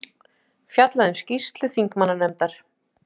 Fjallað um skýrslu þingmannanefndar